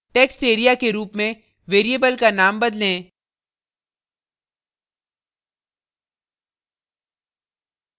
textarea के रूप में variable का नाम बदलें